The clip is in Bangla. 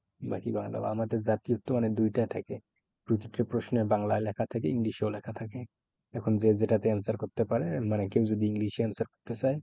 বাহ্ কি ভালো আমাদের জাতীয়র মানে দুইটা থাকে। প্রতিটা প্রশ্ন বাংলায় লেখা থাকে ইংলিশেও লেখা থাকে। এখন যে যেটাতে answer করতে পারে মানে কেউ যদি ইংলিশে answer করতে চায়,